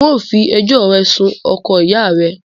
N o fi ẹjọ́ rẹ sun oko ìyá rẹ̀ẹ